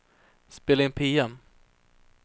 spela in PM